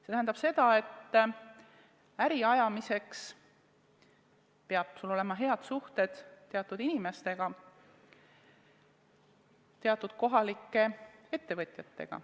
See tähendab seda, et äri ajamiseks peavad sul olema head suhted teatud inimestega, teatud kohalike ettevõtjatega.